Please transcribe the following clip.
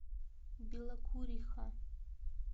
белокуриха